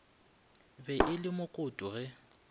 be e le mokoto ge